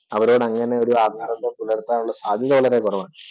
അവരോട് അങ്ങനെയൊരു ആത്മബന്ധം പുലർത്താനുള്ള സാധ്യത കുറവാണ്.